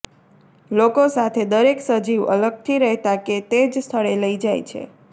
લોકો સાથે દરેક સજીવ અલગથી રહેતા કે તે જ સ્થળે લઈ જાય છે